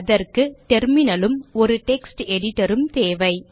அதற்கு டெர்மினல் உம் ஒரு டெக்ஸ்ட் எடிட்டர் உம் தேவை